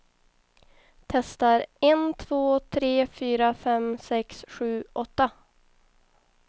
Testar en två tre fyra fem sex sju åtta.